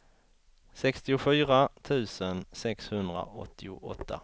sextiofyra tusen sexhundraåttioåtta